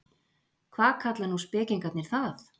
Hvað kalla nú spekingarnir það?